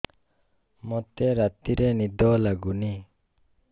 ମୋତେ ରାତିରେ ନିଦ ଲାଗୁନି